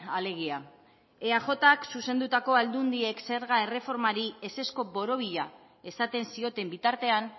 alegia eajk zuzendutako aldundiek zerga erreformari ezezko borobila esaten zioten bitartean